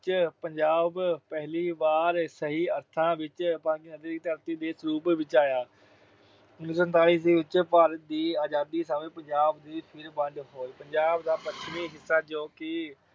ਵਿੱਚ ਪੰਜਾਬ ਪਹਿਲੀ ਵਾਰ ਸਹੀ ਅਰਥਾਂ ਵਿੱਚ ਪੰਜ ਨਦੀਆਂ ਦੀ ਧਰਤੀ ਦੇ ਸਰੂਪ ਵਿੱਚ ਆਇਆ। ਉਨੀ ਸੌ ਸੰਤਾਲੀ ਈਸਵੀ ਵਿਚ ਭਾਰਤ ਦੀ ਆਜਾਦੀ ਸਮੇਂ ਪੰਜਾਬ ਦੀ ਫਿਰ ਵੰਡ ਹੋਈ। ਪੰਜਾਬ ਦਾ ਪੱਛਮੀ ਹਿੱਸਾ ਜੋ ਕਿ